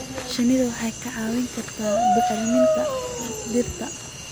Shinnidu waxay kaa caawin kartaa bacriminta dhirta.